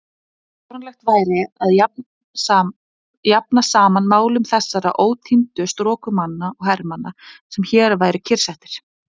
Fáránlegt væri að jafna saman málum þessara ótíndu strokumanna og hermanna, sem hér væru kyrrsettir.